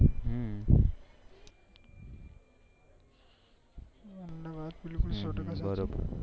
ના ના બરોબર